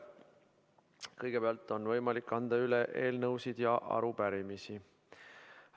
Kõigepealt on võimalik anda üle eelnõusid ja arupärimisi.